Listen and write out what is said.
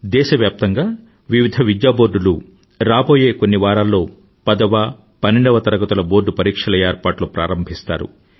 దేశవ్యాప్తంగా వివిధ విద్యాబోర్డులు రాబోయే కొన్ని వారాల్లో పదవ పన్నెండవ తరగతుల బోర్డు పరీక్షల ఏర్పాట్లు ప్రారంభిస్తారు